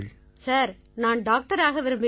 sir நான் doctor ஆக விரும்புகிறேன்